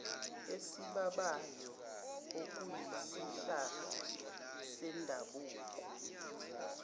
esibabayo okuyisihlahla sendabuko